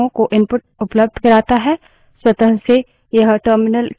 input streams programs को input उपलब्ध करता है